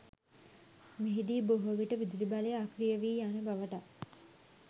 මෙහිදී බොහෝවිට විදුලිබලය අක්‍රිය වී යන බවටත්